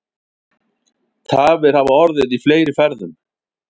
Tafir hafa orðið í fleiri ferðum